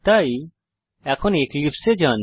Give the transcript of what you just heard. তাই এখন এক্লিপসে এ যান